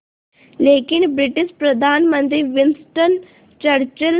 लेकिन ब्रिटिश प्रधानमंत्री Winston Churchill